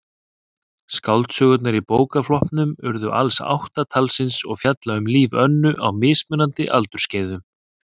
Skáldsögurnar í bókaflokknum urðu alls átta talsins og fjalla um líf Önnu á mismunandi aldursskeiðum.